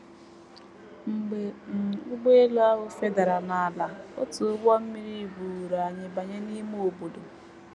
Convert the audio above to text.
“ Mgbe um ụgbọelu ahụ fedara n’ala, otu ụgbọ mmiri buuru anyị banye n’ime obodo.